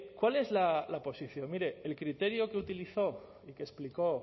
cuál es la posición mire el criterio que utilizó y que explicó